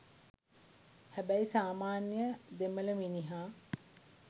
හැබැයි සාමාන්‍යය දෙමළ මිනිහා